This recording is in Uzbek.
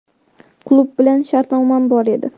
Klub bilan shartnomam bor edi.